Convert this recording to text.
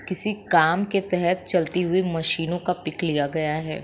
किसी काम के तहत चलती हुए मशीनों का पीक लिया गया है।